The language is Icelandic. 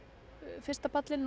fyrsta pallinn